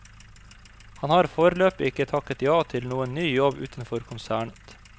Han har foreløpig ikke takket ja til noen ny jobb utenfor konsernet.